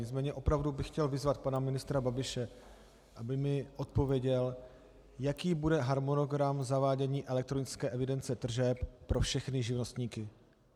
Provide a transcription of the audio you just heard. Nicméně opravdu bych chtěl vyzvat pana ministra Babiše, aby mi odpověděl, jaký bude harmonogram zavádění elektronické evidence tržeb pro všechny živnostníky.